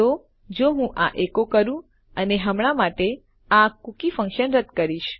તો જો હું આ એકો કરું અને હમણાં માટે આ કૂકી ફન્કશન રદ કરીશ